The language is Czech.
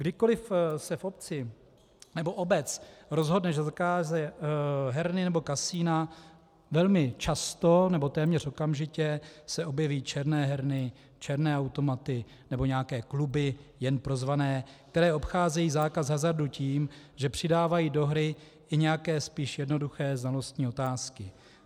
Kdykoli se v obci nebo obec rozhodne, že zakáže herny nebo kasina, velmi často nebo téměř okamžitě se objeví černé herny, černé automaty nebo nějaké kluby jen pro zvané, které obcházejí zákaz hazardu tím, že přidávají do hry nějaké spíš jednoduché znalostní otázky.